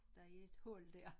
Der er et hul dér